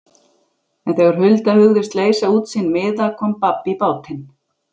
En þegar Hulda hugðist leysa út sinn miða kom babb í bátinn.